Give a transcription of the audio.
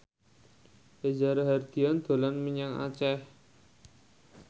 Reza Rahardian dolan menyang Aceh